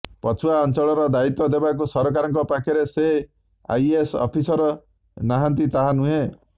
ପଛୁଆ ଅଞ୍ଚଳର ଦାୟିତ୍ୱ ଦେବାକୁ ସରକାରଙ୍କ ପାଖରେ ଯେ ଆଇଏଏସ୍ ଅଫିସର୍ ନାହାନ୍ତି ତାହା ନୁହେଁ